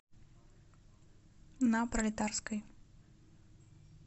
на пролетарской